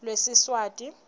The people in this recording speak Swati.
lwesiswati